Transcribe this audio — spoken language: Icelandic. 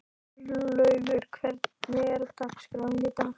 Örlaugur, hvernig er dagskráin í dag?